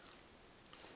vhathu